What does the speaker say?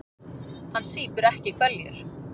Hann sýpur ekki hveljur.